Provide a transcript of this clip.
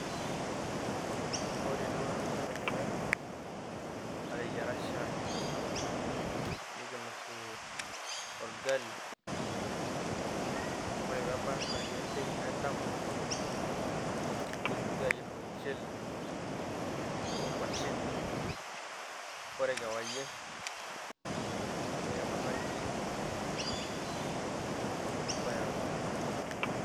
Ore duo tedekenya nateyiara shaai nikinosie orgali. Ore pe ebaiki saai en`dama, nikintoki aayier ormushele o nkuashen. Ore kewarie nikinosa nkirik nikipuo airura.